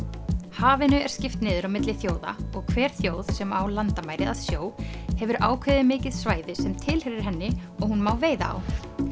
hafinu er skipt niður á milli þjóða og hver þjóð sem á landamæri að sjó hefur ákveðið mikið svæði sem tilheyrir henni og hún má veiða á